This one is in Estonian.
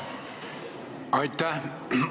Aitäh!